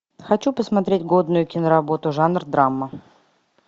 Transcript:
хочу посмотреть годную киноработу жанр драма